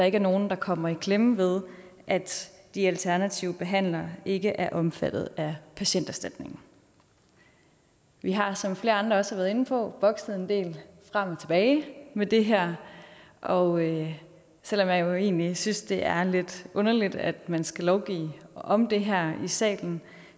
ikke nogen der kommer i klemme ved at de alternative behandlere ikke er omfattet af patienterstatningen vi har som flere andre også har været inde på bokset en del frem og tilbage med det her og selv om jeg egentlig synes at det er lidt underligt at man skal lovgive om det her i salen